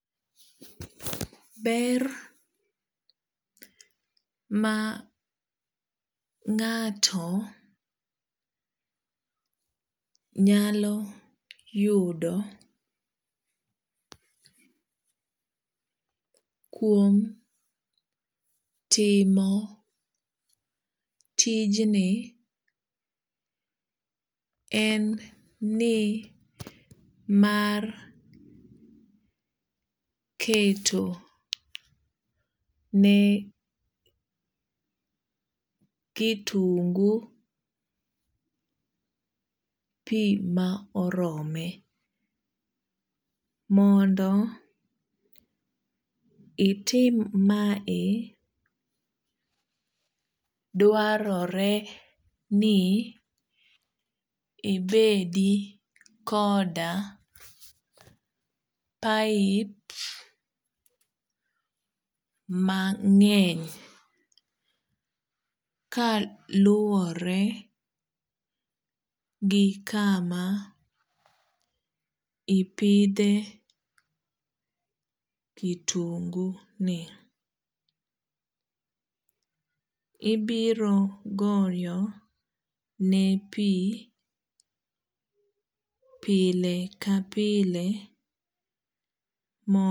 Ber ma ngato nyalo yudo kuom timo tijn en ni mar keto ne kitungu pii ma orome mondo itim mae dwarore ni ibedi koda pipe mangeny kaluwore gi kama ipidhe kitungu ni ibiro goye ne pii pile ka pile